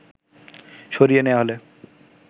সরিয়ে নেয়া হলে